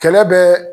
Kɛlɛ bɛ